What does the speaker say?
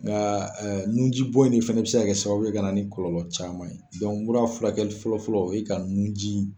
Nka nji bɔ in fɛnɛ bɛ se ka kɛ sababu ye ka na ni kɔlɔlɔ caman ye. mura furakɛli fɔlɔfɔlɔ o ye ka nun jiii.